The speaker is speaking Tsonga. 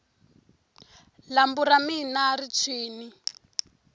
lambu ra mina ri tshwini